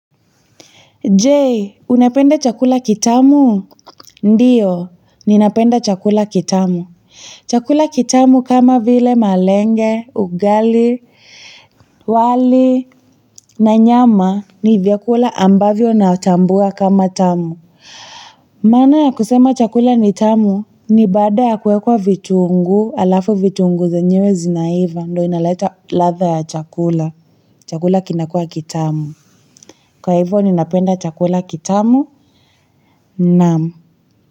Je, unapenda chakula kitamu? Ndiyo, ninapenda chakula kitamu. Chakula kitamu kama vile malenge, ugali, wali, na nyama, ni vyakula ambavyo natambua kama tamu. Maana ya kusema chakula ni tamu, ni baada ya kuwekwa vitunguu, alafu vitunguu zenyewe zinaiva, ndo inaleta ladha ya chakula. Chakula kinakua kitamu. Kwa hivyo, ninapenda chakula kitamu, naam.